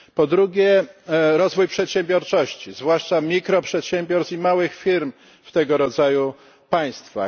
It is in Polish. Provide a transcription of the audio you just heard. Po drugie, rozwój przedsiębiorczości, zwłaszcza mikroprzedsiębiorstw i małych firm w tego rodzaju państwach.